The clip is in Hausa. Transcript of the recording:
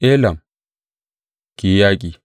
Elam, ki yi yaƙi!